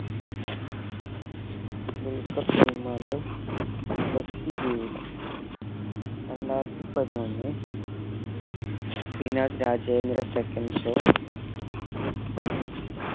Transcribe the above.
ദുൽഖർ സൽമാൻറെ വ്യക്തി ജീവിതം രണ്ടായിരത്തി പതിനൊന്ന് ശ്രീനാഥ് രാജേന്ദ്ര secondshow